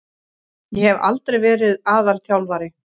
Ég hef aldrei verið aðalþjálfari.